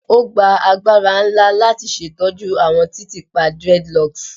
O gba agbara nla lati ṣetọju awọn titiipa dreadlocks